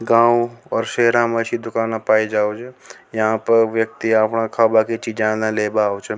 गाँव और शहर में दुकान पाई जावे यहां पे व्यक्ति आपना खावा की चीजे लेवे आवे छ।